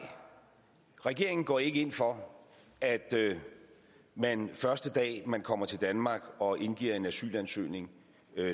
regeringen går ikke ind for at man første dag man kommer til danmark og indgiver en asylansøgning